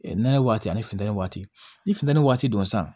nɛnɛ waati ani funtɛni waati ni funtɛni waati don sisan